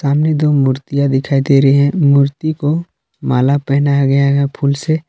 दो मूर्तियां दिखाई दे रही हैं मूर्ति को माला पहनाया गया है फूल से।